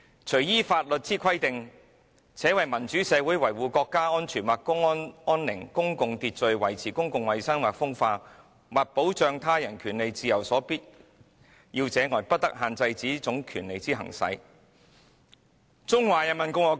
除依法律之規定，且為民主社會維護國家安全或公共安寧、公共秩序、維持公共衞生或風化、或保障他人權利自由所必要者外，不得限制此種權利之行使。